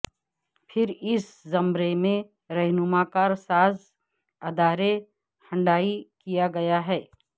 پھر اس زمرے میں رہنما کار ساز ادارے ہنڈائی کیا گیا ہے